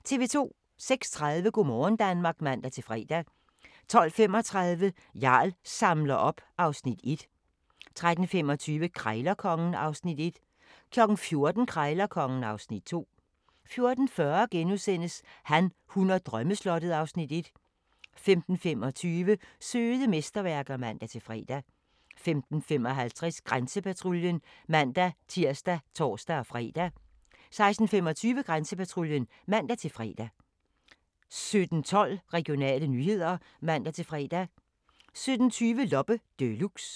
06:30: Go' morgen Danmark (man-fre) 12:35: Jarl samler op (Afs. 1) 13:25: Krejlerkongen (Afs. 1) 14:00: Krejlerkongen (Afs. 2) 14:40: Han, hun og drømmeslottet (Afs. 1)* 15:25: Søde mesterværker (man-fre) 15:55: Grænsepatruljen (man-tir og tor-fre) 16:25: Grænsepatruljen (man-fre) 17:12: Regionale nyheder (man-fre) 17:20: Loppe Deluxe